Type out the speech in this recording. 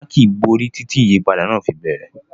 Monarchy borí títí ìyípadà náà fi bẹ̀rẹ̀.